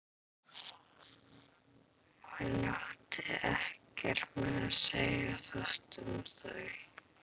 Hann átti ekkert með að segja þetta um þau.